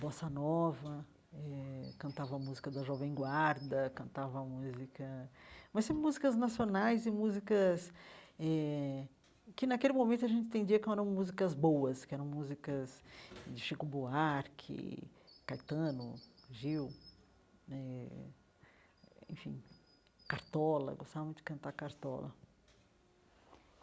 Bossa Nova eh, cantava a música da Jovem Guarda, cantava a música... Mas sempre músicas nacionais e músicas eh que, naquele momento, a gente entendia que eram músicas boas, que eram músicas de Chico Buarque, Caetano, Gil né, enfim... Cartola, eu gostava muito de cantar Cartola.